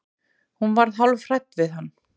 Hún var hálf hrædd við hann.